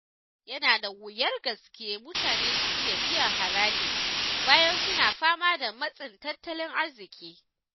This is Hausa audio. Yana da wuyar gaske mutane su iya biyan haraji bayan suna fama da matsin tattalin arziƙi